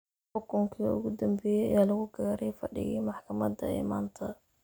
Xukunkii ugu dambeeyay ayaa lagu gaaray fadhigii maxkamadda ee maanta.